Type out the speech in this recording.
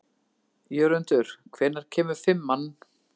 Jörundur, hvenær kemur fimman?